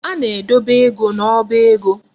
A na-edebe ego n'ọba ego.